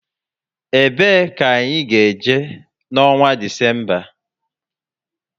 E bee ka anyị ga-eje na onwa Disemba?